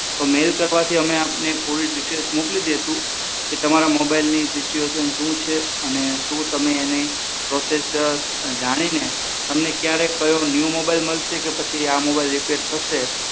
તો મેઈલ કરવાથી અમે આપને પૂરી ડીટેલ્સ મોકલી દઈશું કે તમારા mobile ની સિચ્યુએશન શું છે અને શું તમે તેની process જાણીને તમને ક્યારે ન્યુ કયો mobile મળશે કે પછી આ mobile રીપેર થશે